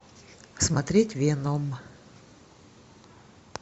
смотреть веном